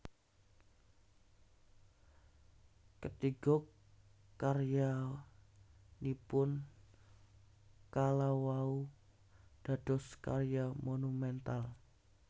Katiga karyanipun kala wau dados karya monumental